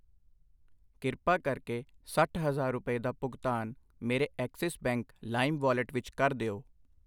ਕਿਰਪਾ ਕਰਕੇ ਸੱਠ ਹਜ਼ਾਰ ਰੁਪਏ ਦਾ ਭੁਗਤਾਨ ਮੇਰੇ ਐਕਸਿਸ ਬੈਂਕ ਲਾਇਮ ਵਾਲਟ ਵਿੱਚ ਕਰ ਦਿਓ।